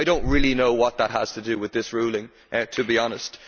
I do not really know what that has to do with this ruling, to be honest.